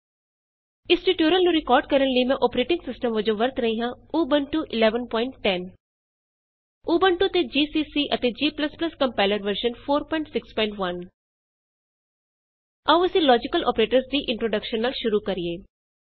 ਇਸ ਟਯੂਟੋਰਿਅਲ ਨੂੰ ਰਿਕਾਰਡ ਕਰਨ ਲਈ ਮੈਂ ਅੋਪਰੇਟਿੰਗ ਸਿਸਟਮ ਵਜੋਂ ਵਰਤ ਰਹੀ ਹਾਂ ਊਬੰਤੂ 1110 ਉਬੁੰਟੂ 1110 ਊਬੰਤੂ ਤੇ ਜੀਸੀਸੀ ਅਤੇ g compiler version 461 GCC and G compiler version 461 on Ubuntu ਆਉ ਅਸੀਂ ਲੋਜੀਕਲ ਅੋਪਰੇਟਰਸ ਦੀ ਇੰਟਰੋਡੇਕਸ਼ਨ ਨਾਲ ਸ਼ੁਰੂ ਕਰੀਏ